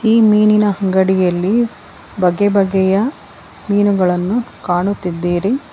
ಈ ಮೀನಿನ ಅಂಗಡಿಯಲ್ಲಿ ಬಗೆ ಬಗೆಯ ಮೀನುಗಳನ್ನು ಕಾಣುತ್ತಿದ್ದಿರಿ.